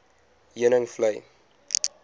heuningvlei